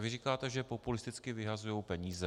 A vy říkáte, že populisticky vyhazují peníze.